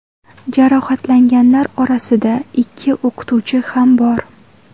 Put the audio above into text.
Jarohatlanganlar orasida ikki o‘qituvchi ham bor.